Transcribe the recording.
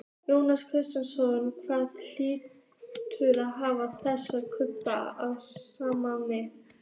Jóhannes Kristjánsson: Hvaða þýðingu hafa þessi kaup fyrir Samskip?